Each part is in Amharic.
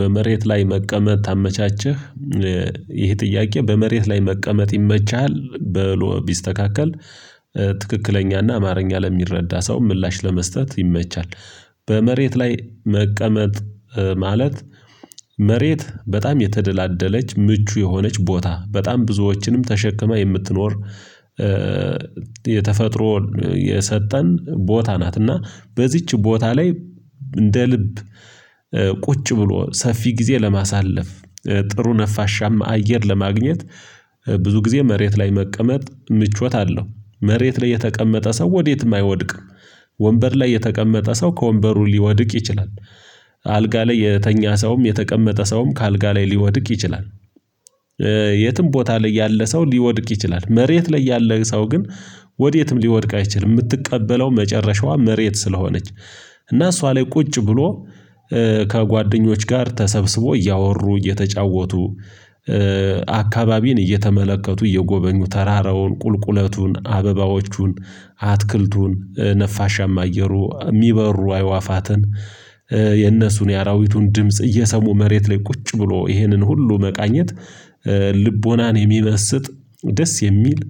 በመሬት ላይ መቀመጥ ታመቻችህ ይህ ጥያቄ በመሬት ላይ መቀመጥ ይመቸሃል በሎ ቢስተካከል ትክክለኛና አማርኛ ለሚረዳ ሰው ምላሽ ለመስጠት ይመቻል። በመሬት ላይ መቀመጥ ማለት መሬት በጣም የተደላደለች ምቹ የሆነች ቦታ በጣም ብዙዎችንም ተሸክማ የምትኖር የተፈጥሮ የሰጠን ቦታ ናት እና በዚች ቦታ ላይ እንደ ልብ ቁጭ ብሎ ሰፊ ጊዜ ለማሳለፍ ጥሩ ነፋሻም አየር ለማግኘት ብዙ ጊዜ መሬት ላይ መቀመጥ ምቾት አለው መሬት ላይ የተቀመጠ ሰው ወዴትም አይወድቅም። ወንበር ላይ የተቀመጠ ሰው ከወንበሩ ሊወድቅ ይችላል። አልጋ ላይ የተኛ ሰውም የተቀመጠ ሰውም ከአልጋ ላይ ሊወድቅ ይችላል። የትም ቦታ ላይ ያለ ሰው ሊወድቅ ይችላል መሬት ላይ ያለ ሰው ግን ወዴትም ሊወድቅ አይችልም የምትቀበለው መጨረሻዋ መሬት ስለሆነች እና እሷ ላይ ቁጭ ብሎ ከጓደኞች ጋር ተሰብስቦ እያወሩ እየተጫወቱ አካባቢን እየተመለከቱ እየጎበኙ ተራራውን ቁልቁለቱን አበባዎቹን አትክልቱን ነፋሻማ አየሩ የሚበሩ አይዋፋትን የነሱን የአራዊቱን ድምጽ እየሰሙ መሬት ላይ ቁጭ ብሎ ይህንን ሁሉ መቃኘት ልቦናን የሚመስጥ ደስ የሚል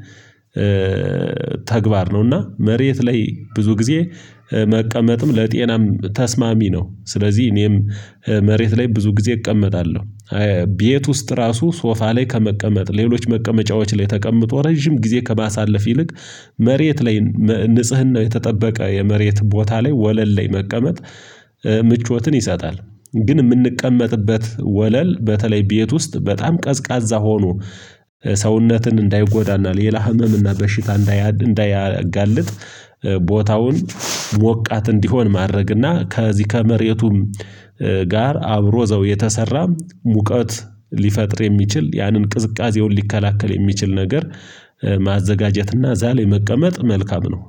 ተግባር ነው እና መሬት ላይ ብዙ ጊዜ መቀመጥም ለጤናም ተስማሚ ነው ስለዚህ እኔም መሬት ላይ ብዙ ጊዜ እቀመጣለሁ። ቤት ውስጥ እራሱ ሶፋ ላይ ከመቀመጥ ሌሎች መቀመጫዎች ላይ ተቀምጦ ረጅም ጊዜ ከባሳለፍ ይልቅ መሬት ላይ ንጽህና የተጠበቀ የመሬት ቦታ ላይ ወለል ላይ መቀመጥ ምቾትን ይሰጣል። ግን ምንቀመጥበት ወለል በተለይ ቤት ውስጥ በጣም ቀዝቃዛ ሆኖ ሰውነትን እንዳይጎዳናል የላ ህመም እና በሽታ እንዳያጋልጥ ቦታውን ሞቃት እንዲሆን ማድረግና ከዚህ ከመሬቱም ጋር አብሮ ዘው የተሰራ ሙቀት ሊፈጥር የሚችል ያንን ቅዝቃዜውን ሊከላከል የሚችል ነገር ማዘጋጀትና እዛ ላይ መቀመጥ መልካም ነው።